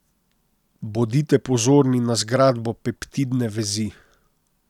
Bodite pozorni na zgradbo peptidne vezi.